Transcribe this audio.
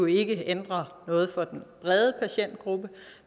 ikke ændrer noget for den brede patientgruppe